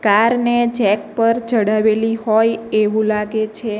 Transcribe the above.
Car ને jack પર ચડાવેલી હોય એવું લાગે છે.